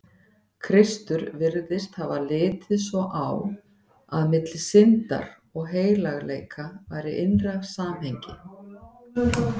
Kristur virðist hafa litið svo á, að milli syndar og heilagleika væri innra samhengi.